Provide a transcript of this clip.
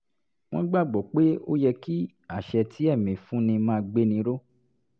wọ́n gbà gbọ́ pé ó yẹ kí àṣẹ tí ẹ̀mí fúnni máa gbéni ró